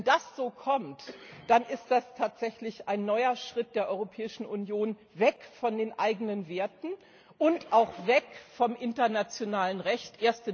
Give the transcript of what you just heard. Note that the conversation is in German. Wenn das so kommt, dann ist das tatsächlich ein neuer Schritt der Europäischen Union weg von den eigenen Werten und auch weg vom internationalen Recht.